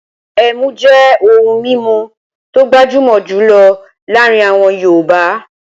Ẹmú jẹ́ ohun mímu tó gbajúmọ̀ jùlọ láàrin àwọn yọọ̀bá